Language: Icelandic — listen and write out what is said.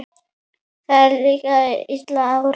Líka þegar að illa árar?